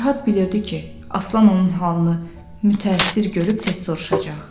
Fərhad bilirdi ki, Aslan onun halını mütəəssir görüb tez soruşacaq.